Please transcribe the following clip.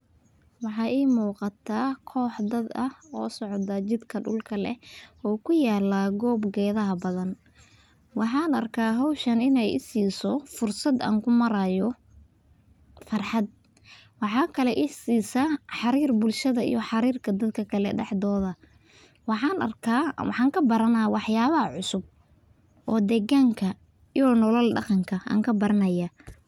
Maxaa ii muuqataa koox dad ah oo socoto jidka dulka leh oo kuyaala goob geeda badan, waxaan arkaa howshan inaay isiiso fursad aan kumaraayo farxad, waxaa kale isiisa xariir bulshada iyo xariir dadka kale dexdooda waxaan arkaa oo aan kubaraana wax yaabaha cusub oo deeganka iyo nolol daqanka aan kabaranaya.